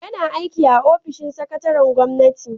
Yana aiki a ofishin sakataren gwamnati